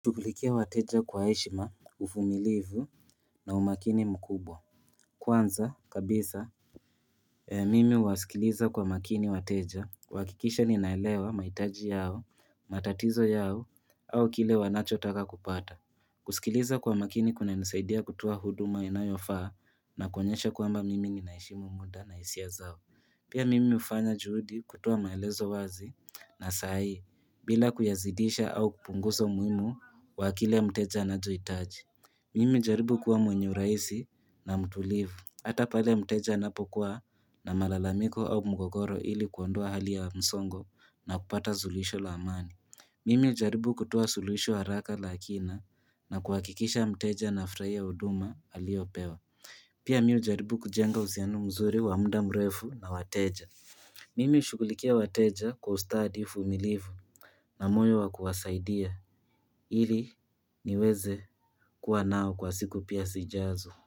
Tukulikia wateja kwa heshima, uvumilivu na umakini mkubwa. Kwanza, kabisa, mimi wasikiliza kwa makini wateja. Huhakikisha ninaelewa maitaji yao, matatizo yao, au kile wanacho taka kupata. Kusikiliza kwa makini kuna nisaidia kutoa huduma inayofaa na konyesha kwamba mimi ninaheshimu muda na hiisia zao. Pia mimi ufanya juhudi kutoa maelezo wazi na saa hii bila kuyazidisha au kupunguza umuhimu wa kile mteja anachohitaji Mimi hujaribu kuwa mwenye urahisi na mtulivu Hata pale mteja anapokuwa na malalamiko au mgogoro ili kuondoa hali ya msongo na kupata sulisho la amani Mimi hujaribu kutoa sulisho haraka la akina na kuhakikisha mteja anafurahia huduma aliyopewa Pia mi hujaribu kujenga uhusiano mzuri wa muda mrefu na wateja Mimi hushughulikia wateja kwa ustadi uvumilivu na moyo wa kuwasaidia ili niweze kuwa nao kwa siku pia sijazo.